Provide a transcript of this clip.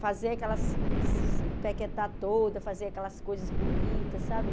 Fazer aquelas se... Pequetar toda, fazer aquelas coisas bonitas, sabe?